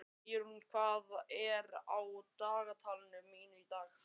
Eirún, hvað er á dagatalinu mínu í dag?